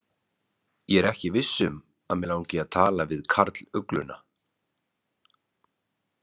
Ég er ekki viss um að mig langi til að tala við karlugluna.